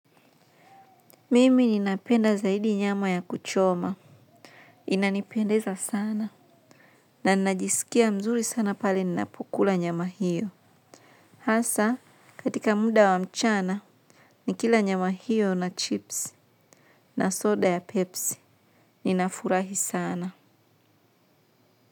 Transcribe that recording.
Mimi ninapenda zaidi nyama ya kuchoma. Inanipendeza sana. Na ninajisikia mzuri sana pale ninapukula nyama hiyo. Hasa katika muda wa mchana nikila nyama hio na chips na soda ya pepsi ninafurahi sana.